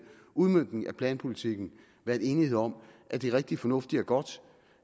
udmøntning af planpolitikken været enighed om at det er rigtig fornuftigt og godt